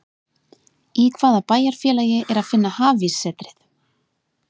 Í hvaða bæjarfélagi er að finna Hafíssetrið?